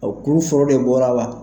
Ɔ kuru foro de bɔra la.